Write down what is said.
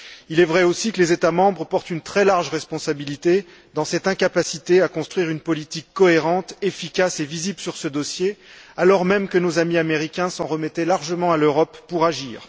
Il est vrai aussi que les États membres portent une très large responsabilité dans cette incapacité à construire une politique cohérente, efficace et visible sur ce dossier, alors même que nos amis américains s'en remettaient largement à l'Europe pour agir.